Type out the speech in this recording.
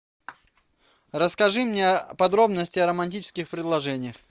расскажи мне подробности о романтических предложениях